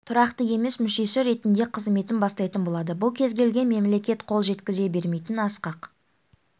тұрақты емес мүшесі ретінде қызметін бастайтын болады бұл кез келген мемлекет қол жеткізе бермейтін асқақ